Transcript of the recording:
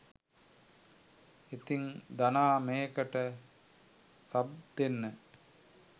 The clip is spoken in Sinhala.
ඉතින් ධනා මේකට සබ් දෙන්න